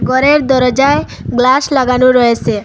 ঘরের দরজায় গ্লাস লাগানো রয়েসে।